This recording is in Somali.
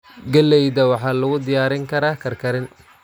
Galleyda waxaa lagu diyaarin karaa karkarin.